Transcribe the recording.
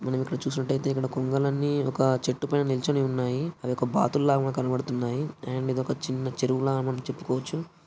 మనం ఇక్కడ చూసినట్టయితే ఇక్కడ కొంగలన్నీ ఒక చెట్టు పైన నిల్చొని ఉన్నాయి. అవి ఒక బాతుల్లాగా కనబడుతున్నాయి. అయిండ్ ఒక చిన్న చెరువు లాగా మనం చెప్పుకోవచ్చు.